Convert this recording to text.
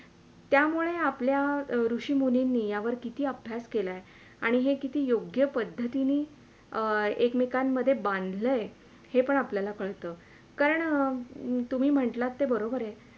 त्यामुळे आपल्या ऋषि मुनींनी यावर किती अभ्यास केलाय आणि हे किती योग्य पद्धतीन अं एकमेकांमध्ये बांधलय हे पण आपल्याला कळतं कारण तुम्ही म्हंटलात ते बरोबरय